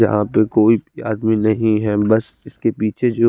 यहा पे कोई आदमी नही है बस इसके पीछे जो--